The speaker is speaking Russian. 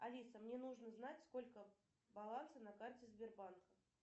алиса мне нужно знать сколько баланса на карте сбербанка